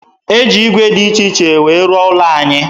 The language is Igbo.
E ji ígwè dị iche iche wee rụọ ụlọ anyị